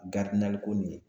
ko nin ye